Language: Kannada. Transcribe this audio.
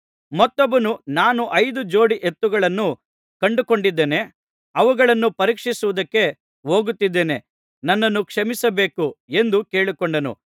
ಮತ್ತೊಬ್ಬನು ನಾನು ಐದು ಜೋಡಿ ಎತ್ತುಗಳನ್ನು ಕೊಂಡುಕೊಂಡಿದ್ದೇನೆ ಅವುಗಳನ್ನು ಪರೀಕ್ಷಿಸುವುದಕ್ಕೆ ಹೋಗುತ್ತಿದ್ದೇನೆ ನನ್ನನ್ನು ಕ್ಷಮಿಸಬೇಕು ಎಂದು ಕೇಳಿಕೊಂಡನು